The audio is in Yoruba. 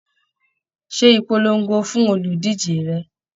Ṣé ìpolongo fún oludije rẹ!